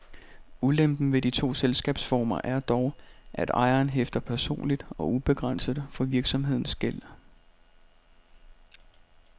Ulempen ved de to selskabsformer er dog, at ejeren hæfter personligt og ubegrænset for virksomhedens gæld.